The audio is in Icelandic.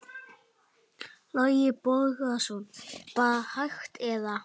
Boði Logason: Bara hægt eða?